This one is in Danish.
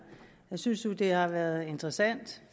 jeg synes faktisk at det har været interessant